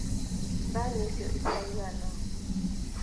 Thani icio itiraigana.